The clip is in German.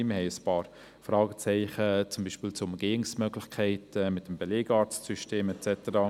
Wir haben ein paar Fragezeichen, beispielsweise zu den Umgehungsmöglichkeiten im Belegarztsystem et cetera.